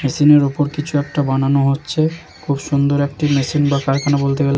Machine -এর উপর কিছু একটা বানানো হচ্ছে। খুব সুন্দর একটি মেশিন বা কারখানা বলতে গেলে।